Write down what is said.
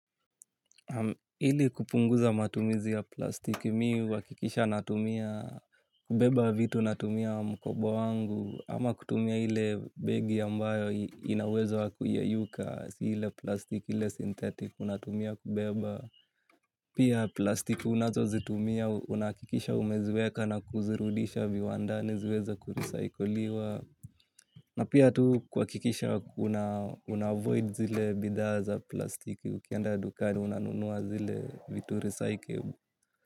Hili kupunguza matumizi ya plastiki mi uhakikisha natumia kubeba vitu natumia mkobo wangu ama kutumia hile begi ambayo inawezo hakuyeyuka hile plastiki hile sintetik unatumia kubeba. Pia plastiki unazo zitumia, unakikisha umeziweka na kuzirudisha viwandani ziweza kurecycliwa na pia tu kwa kikisha unavoid zile bidha za plastiki ukianda dukani unanunua zile vitu recyclivi.